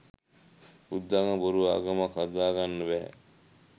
බුද්ධාගම බොරු ආගමක් හදාගන්න බැහැ